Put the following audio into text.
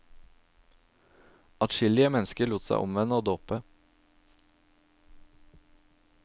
Atskillige mennesker lot seg omvende og dåpe.